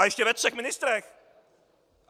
A ještě ve třech ministrech!